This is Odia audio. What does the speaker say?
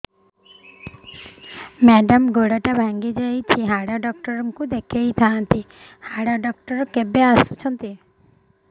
ମେଡ଼ାମ ଗୋଡ ଟା ଭାଙ୍ଗି ଯାଇଛି ହାଡ ଡକ୍ଟର ଙ୍କୁ ଦେଖାଇ ଥାଆନ୍ତି ହାଡ ଡକ୍ଟର କେବେ ଆସୁଛନ୍ତି